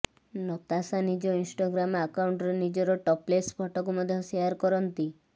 ନତାଶା ନିଜ ଇନଷ୍ଟାଗ୍ରାମ ଆକାଉଣ୍ଟରେ ନିଜର ଟପ୍ଲେସ୍ ଫଟୋକୁ ମଧ୍ୟ ସେୟାର କରିଛନ୍ତି